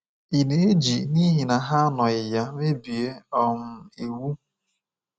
Ị̀ na-eji n’ihi na ha anọghị ya mebie um iwu?